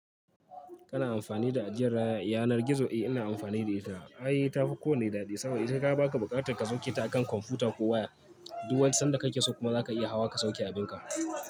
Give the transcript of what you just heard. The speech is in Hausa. Kana amfani da ajiyar yanar gizo? Eh ina amfani da ita. Ai tafi ko wanne daɗi saboda ita ka baka buƙatar ka sauke ta akan kwamfuta ko waya. Du sanda kake so kuma zaka iya hawa ka sauke abin ka.